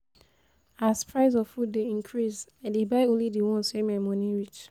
As price of food dey increase, I dey buy only di ones wey my moni reach.